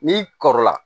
N'i kɔrɔla